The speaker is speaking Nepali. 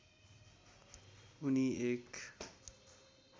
उनी एक